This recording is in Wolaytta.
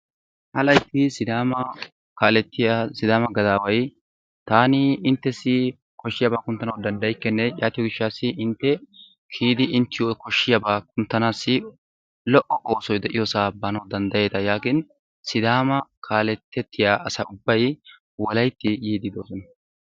Ha layitti sidaama kaalettiya sidaama gadaaway taani inttessi koshshiyabaa kunttanawu danddayikkenne yaatiyo gishshaassi intte kiyidi inttiyo koshshiyabaa kunttanaassi lo'o oosoy diyosaa baanawu danddayeeta yaagin sidaama kaaletettiya asa ubbay wolayitti yiiddi doosona.